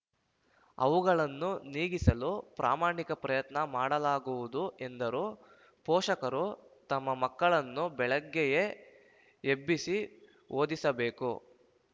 ಅವುಗಳನ್ನು ನೀಗಿಸಲು ಪ್ರಾಮಾಣಿಕ ಪ್ರಯತ್ನ ಮಾಡಲಾಗುವುದು ಎಂದರು ಪೋಷಕರು ತಮ್ಮ ಮಕ್ಕಳನ್ನು ಬೆಳಗ್ಗೆಯೇ ಎಬ್ಬಿಸಿ ಓದಿಸಬೇಕು